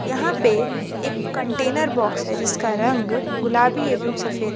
यहां पे एक कंटेनर बॉक्स है जिसका रंग गुलाबी एवं सफेद है